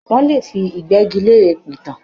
Wọ́n lè fi ìgbẹ́gilére pìtàn.